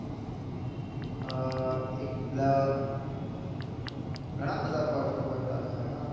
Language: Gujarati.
એક બ્લ ઘણાં બધા perfume બનતા હતા યાર